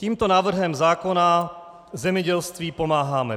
Tímto návrhem zákona zemědělství pomáháme.